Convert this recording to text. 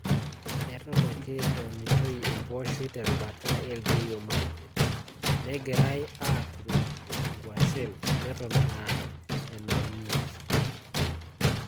Eton ake eunitoi empooshoi te rubata e Elgeiyo Marakwet, negirai aaturoki nguashen neton aa enaunieki.